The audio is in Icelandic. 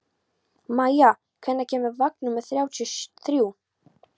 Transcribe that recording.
Maia, hvenær kemur vagn númer þrjátíu og þrjú?